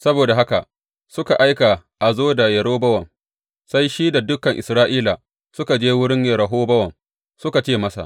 Saboda haka suka aika a zo da Yerobowam, sai shi da dukan Isra’ila suka je wurin Rehobowam suka ce masa.